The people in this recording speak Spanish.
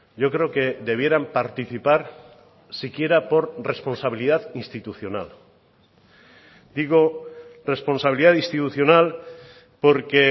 yo creo que debieran participar siquiera por responsabilidad institucional digo responsabilidad institucional porque